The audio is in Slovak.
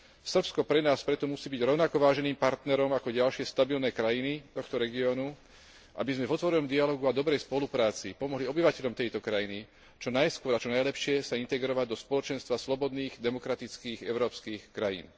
Srbsko pre nás preto musí byť rovnako váženým partnerom ako ďalšie stabilné krajiny tohto regiónu, aby sme v otvorenom dialógu a dobrej spolupráci pomohli obyvateľom tejto krajiny čo najskôr a čo najlepšie sa integrovať do spoločenstva slobodných, demokratických európskych krajín.